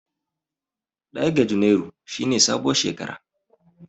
Ɗaya ga junairu shi ne sabuwar shekara.